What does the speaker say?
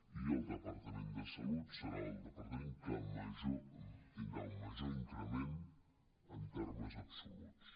i el departament de salut serà el departament que tindrà un major increment en termes absoluts